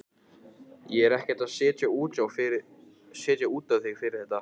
Ég er ekkert að setja út á þig fyrir þetta.